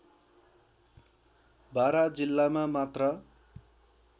बारा जिल्लामा मात्र